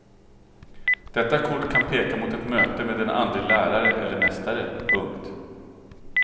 Detta kort kan peka mot ett möte med en andlig lärare eller mästare. punkt